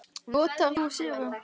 Notar þú serum?